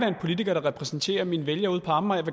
en politiker der repræsenterer mine vælgere ude på amager